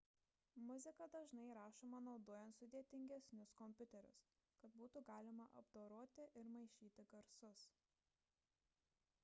muzika dažnai įrašoma naudojant sudėtingesnius kompiuterius kad būtų galima apdoroti ir maišyti garsus